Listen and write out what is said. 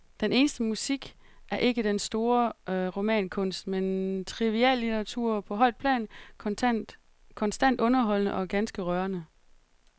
Den eneste musik er ikke den store romankunst, men triviallitteratur på højt plan, konstant underholdende og ganske rørende.